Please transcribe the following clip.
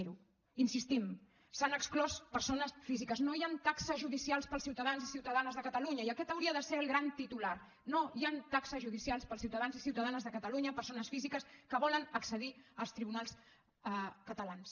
hi insistim se n’han exclòs persones físiques no hi han taxes judicials per als ciutadans i ciutadanes de catalunya i aquest hauria de ser el gran titular no hi han taxes judicials per als ciutadans i ciutadanes de catalunya persones físiques que volen accedir als tribunals catalans